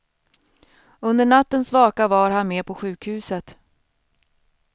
Under nattens vaka var han med på sjukhuset.